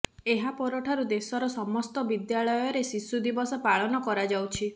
ଏହା ପରଠାରୁ ଦେଶର ସମସ୍ତ ବିଦ୍ୟାଳୟରେ ଶିଶୁ ଦିବସ ପାଳନ କରାଯାଉଛି